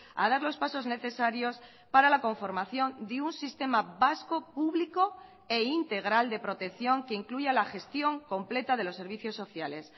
a dar los pasos necesarios para la conformación de un sistema vasco público e integral de protección que incluya la gestión completa de los servicios sociales